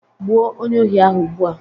gbuo onye ohi ahụ ugbua